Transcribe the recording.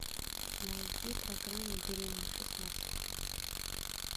найди программу беременна в шестнадцать